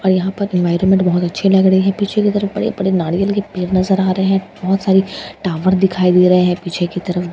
और यहाँ पर एनवायरनमेंट बहुत अच्छी लग रही है पीछे की तरफ बड़े-बड़े नारियल के पेड़ नजर आ रहे हैं बहुत सारी टॉवर दिखाई दे रहे है पीछे की तरफ।